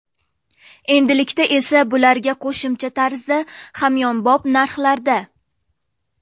Endilikda esa bularga qo‘shimcha tarzda hamyonbop narxlarda!